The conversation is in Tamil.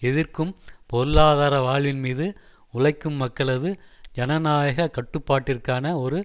எதிர்க்கும் பொருளாதார வாழ்வின் மீது உழைக்கும் மக்களது ஜனநாயக கட்டுப்பாட்டிற்கான ஒரு